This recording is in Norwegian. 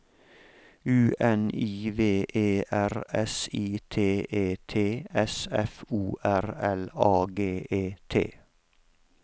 U N I V E R S I T E T S F O R L A G E T